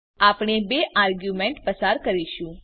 આપણે બે આર્ગ્યુમેંટ પસાર કરીશું